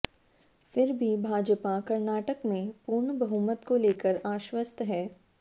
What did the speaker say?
फिर भी भाजपा कर्नाटक में पूर्ण बहुमत को लेकर आश्वस्त है